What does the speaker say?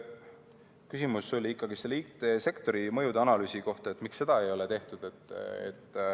Küsimus oli ikkagi IT-sektoris tekkivate mõjude analüüsi kohta, et miks seda ei ole tehtud.